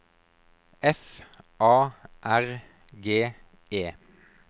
F A R G E